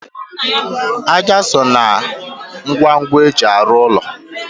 Ájá so na ngwongwo eji arụ úlọ